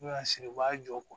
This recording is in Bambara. N'u y'a siri u b'a jɔ